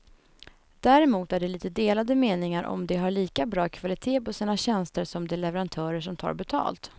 Däremot är det lite delade meningar om de har lika bra kvalitet på sina tjänster som de leverantörer som tar betalt.